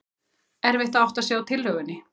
Erfitt að átta sig á tillögunni